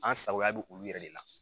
An sagoya bɛ olu yɛrɛ de la.